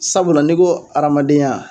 Sabula n'i ko hadamadenya